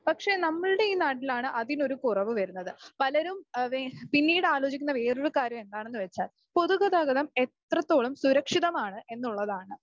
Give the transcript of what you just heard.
പക്ഷേ നമ്മളുടെ ഈ നാട്ടിലാണ് അതിന് ഒരു കുറവ് വരുന്നത് . പലരും അതാ പിന്നീട് ആലോചിക്കുന്ന വേറെ ഒരു കാര്യം എന്താണെന്ന് വച്ചാൽ പൊതുഗതാഗതം എത്രത്തോളം സുരക്ഷിതമാണ് എന്നുള്ളതാണ്.